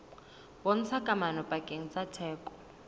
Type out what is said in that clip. bontshang kamano pakeng tsa theko